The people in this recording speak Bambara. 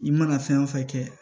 I mana fɛn wo fɛn kɛ